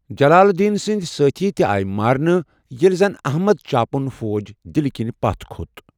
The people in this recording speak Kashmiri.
جلال الدین سٕنٛدۍ سٲتھی تہِ آیہ مارنہٕ، ییٚلہ زن احمد چاپُن فوج دِلہ کنۍ پتھ كھوت۔